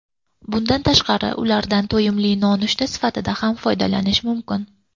Bundan tashqari, ulardan to‘yimli nonushta sifatida ham foydalanish mumkin.